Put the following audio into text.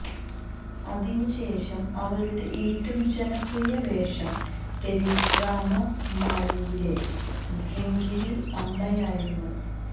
അതിനുശേഷം അവരുടെ ഏറ്റവും ജനപ്രിയ വേഷം ടെലിഡ്രാമ മാലിയിലെ ഡിംഗിരി അമ്മയായിരുന്നു